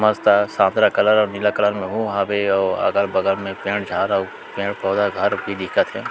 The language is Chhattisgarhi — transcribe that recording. मस्त हे सादा कलर और नीला कलर मे हु हवे और अगल-बगल मे पेड़-झाड़ और पेड़-पौधा घर भी दिखत हे।